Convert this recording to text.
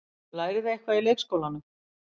Lærið þið eitthvað í leikskólanum?